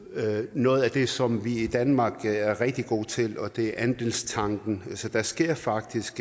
noget af det som vi i danmark er rigtig gode til og det er andelstanken så der sker faktisk